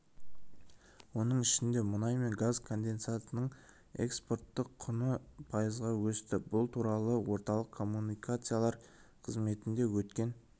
оның ішінде мұнай мен газ конденсатының экспорттық құны пайызға өсті бұл туралы орталық коммуникациялар қызметінде өткен